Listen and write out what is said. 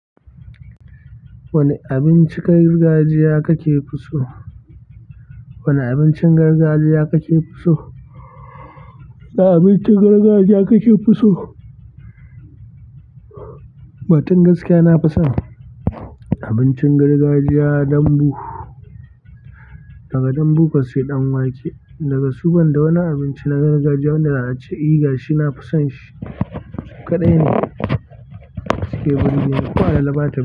Wane abincin gargajiya kake fi so? Wane abincin gargajiya kake so? Wane abincin gargajiya kake so? Batun gaskiya na fi son abincin gargajiya dambu. Daga danbu ko sai ɗan wake. Daga su ban da wani abinci na gargajiya wanda zaa ce eh gashi na fi son shi. Su kaɗai ne su ke burge ni, ko alala bata.